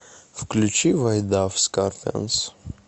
включи вайт дав скорпионс